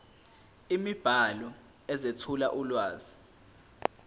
imibhalo ezethula ulwazi